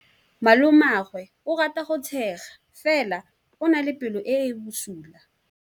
Malomagwe o rata go tshega fela o na le pelo e e bosula.